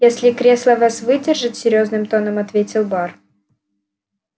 если кресла вас выдержат серьёзным тоном ответил бар